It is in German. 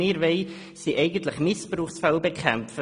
Wir wollen hingegen Missbrauchsfälle bekämpfen.